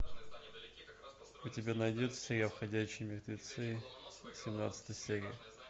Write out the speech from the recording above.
у тебя найдется сериал ходячие мертвецы семнадцатая серия